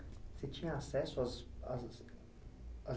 Você tinha acesso às às